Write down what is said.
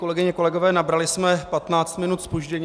Kolegyně, kolegové, nabrali jsme 15 minut zpoždění.